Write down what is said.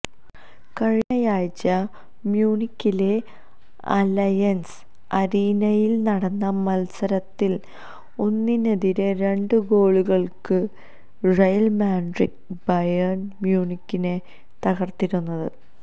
കഴിഞ്ഞയാഴ്ച മ്യൂണിക്കിലെ അലയന്സ് അരീനയില് നടന്ന മത്സരത്തില് ഒന്നിനെതിരെ രണ്ട് ഗോളുകള്ക്ക് റയല് മാഡ്രിഡ് ബയേണ് മ്യൂണിക്കിനെ തകര്ത്തിരുന്നു